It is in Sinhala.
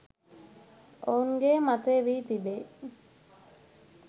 ඔවුන්ගේ මතය වී තිබේ